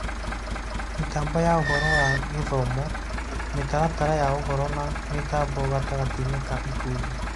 Mĩtambo ya ũhoro wa gĩthomo, mĩtaratara ya ũhoro na mĩtambo gatagatĩ-inĩ ka ikundi